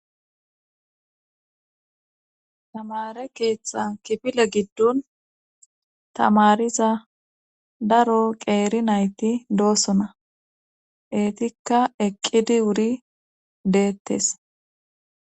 tamare keeththan kifile giddon tamariza daro qeeri nayti doosona eetikka eqqidi wuri deettes